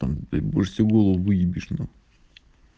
там ты барселону выебешь нах